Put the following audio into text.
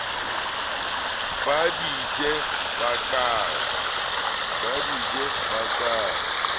ba di je ba ke